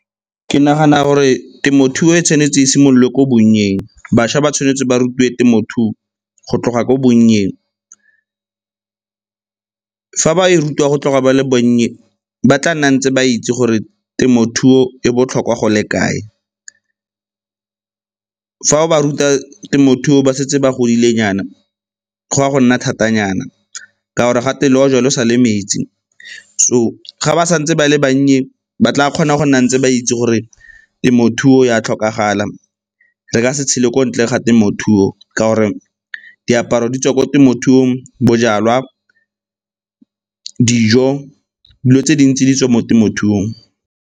Ke nagana gore temothuo e tshwanetse e simololwe ko bonnyeng, bašwa ba tshwanetse ba rutiwe temothuo go tloga ko bonnyeng. Fa ba e rutiwa go tloga ba le bannye ba tla nna ntse ba itse gore temothuo e botlhokwa go le kae. Fa ba ruta temothuo ba setse ba godile nyana go ya go nna thata nyana ka gore le ojwa lo sa le metsi, so ga ba sa ntse ba le bannye ba tla kgona go nna ntse ba itse gore temothuo e a tlhokagala, re ka se tshele ko ntle ga temothuo ka gore diaparo di tswa ko temothuong, bojalwa dijo, dilo tse dintsi di tswa mo temothuong.